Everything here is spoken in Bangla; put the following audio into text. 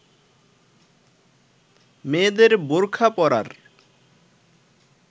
মেয়েদের বোরখা পরার